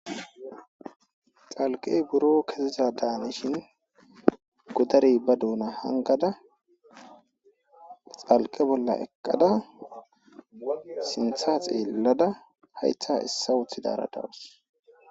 Dhalqey biro keziza danishin godarey ba Dona hangada xalqe bola eqada sinta xelada hayta esa wotudara dawus.